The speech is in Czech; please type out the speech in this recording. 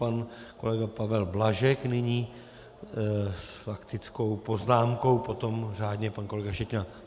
Pan kolega Pavel Blažek nyní s faktickou poznámkou, potom řádně pan kolega Šetina.